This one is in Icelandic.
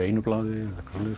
einu blaði